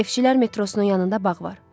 Neftçilər metrosunun yanında bağ var.